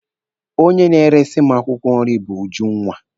Onye na-eresi m akwụkwọ nri bụ Ujunwa.